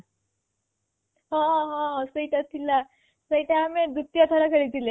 ହଁ ହଁ ସେଇଟା ଥିଲା ସେଇଟା ଆମେ ଦୁତୀୟ ଥର ଖେଳିଥିଲେ